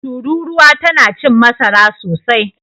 Turuwa tana cin masara sosai.